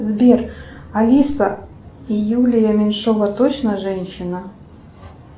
сбер алиса юлия меньшова точно женщина